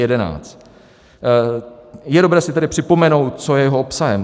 Je dobré si tady připomenout, co je jeho obsahem.